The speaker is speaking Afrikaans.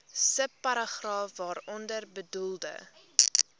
subparagraaf waaronder bedoelde